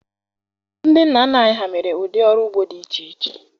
Ndị nna nna anyị ha mere ụdị ọrụ ugbo dị iche iche